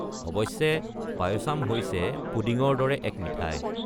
অৱশ্যে, পায়াচাম হৈছে পুডিঙৰ দৰে এক মিঠাই।